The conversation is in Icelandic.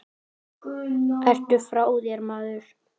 Ertu frá þér, maður?